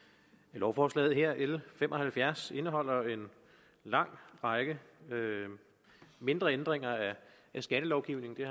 lovforslaget her l fem og halvfjerds indeholder en lang række mindre ændringer af skattelovgivningen det